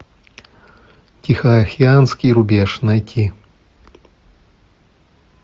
тихоокеанский рубеж найти